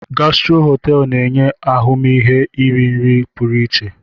Gastro Hotel na-enye ahụmihe iri nri pụrụ iche.